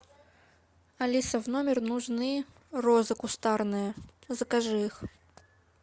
алиса в номер нужны розы кустарные закажи их